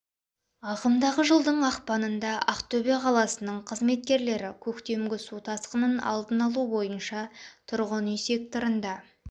ағымдағы жылдың ақпанында ақтөбе қаласының қызметкерлері көктемгі су тасқынын алдын алу бойынша тұрғын үй секторында